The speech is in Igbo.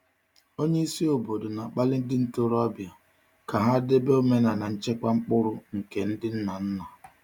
Onye isi obodo na-akpali ndị ntorobịa ka ha debe omenala nchekwa mkpụrụ nke ndị nna nna.